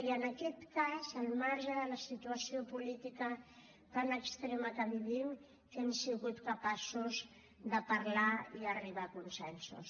i en aquest cas al marge de la situació política tan extrema que vivim que hem sigut capaços de parlar i arribar a consensos